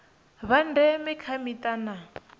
vha ndeme kha mita na